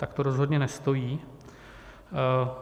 Tak to rozhodně nestojí.